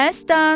Məstan